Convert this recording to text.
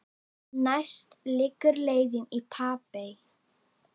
Næst liggur leiðin í Papey.